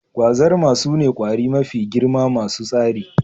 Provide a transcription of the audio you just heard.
Gwazarma sune ƙwari mafi girma masu tsari